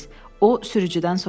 O sürücüdən soruşdu.